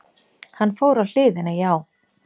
Hann fór á hliðina, já!